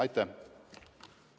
Aitäh!